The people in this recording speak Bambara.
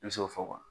I bɛ se k'o fɔ